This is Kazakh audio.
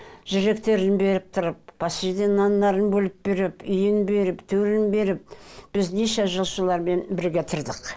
жүректерің беріп тұрып нандарын бөліп беріп үйін беріп төлін беріп біз неше жыл солармен бірге тұрдық